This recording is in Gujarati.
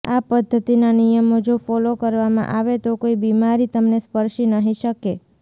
આ પદ્ધતિના નિયમો જો ફોલો કરવામાં આવે તો કોઇ બીમારી તમને સ્પર્શી નહીં શકે